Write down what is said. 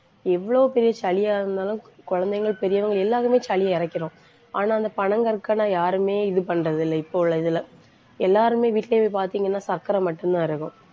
எவ்வளவு பெரிய சளியாக இருந்தாலும் குழந்தைங்கள், பெரியவங்க எல்லாருமே சளியை இறைக்கிறோம். ஆனா, அந்த பனங்கற்கண்டு யாருமே இது பண்றது இல்லை. இப்போ உள்ள இதுல. எல்லாருமே, வீட்டிலேயே போய் பார்த்தீங்கன்னா சர்க்கரை மட்டும்தான் இருக்கும்